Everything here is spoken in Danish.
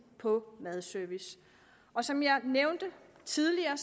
på madservice og som jeg nævnte tidligere